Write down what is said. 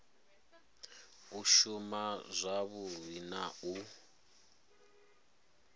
u shuma zwavhui na u